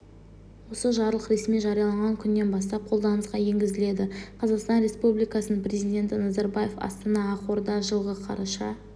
осы жарлық ресми жарияланған күнінен бастап қолданысқа енгізіледі қазақстан республикасының президенті назарбаев астана ақорда жылғы қараша